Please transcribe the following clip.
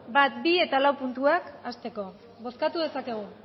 bat bi eta lau puntuak hazteko bozkatu dezakegu